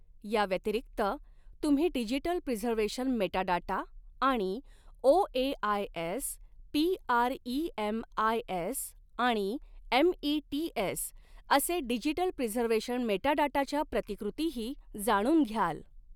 याव्यतिरिक्त तुम्ही digital preservation metadata आणि ओएआयएस पीआरईएमआयएस आणि एमईटीएस असॆ डिजिटल प्रिझर्व्हेशन मेटाडाटाच्या प्रतिकृतीही जाणून घ्याल.